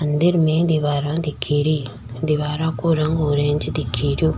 मंदिर में दीवारा दिखे री दिवारा को रंग ऑरेंज दिखे रियो।